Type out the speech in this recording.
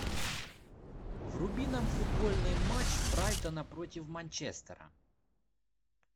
вруби нам футбольный матч брайтона против манчестера